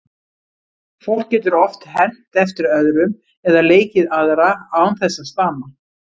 Fólk getur oft hermt eftir öðrum eða leikið aðra án þess að stama.